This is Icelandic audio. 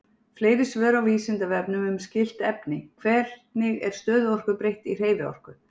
Fleiri svör á Vísindavefnum um skylt efni: Hvernig er stöðuorku breytt í hreyfiorku?